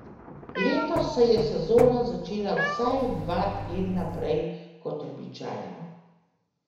Letos se je sezona začela vsaj dva tedna prej kot običajno.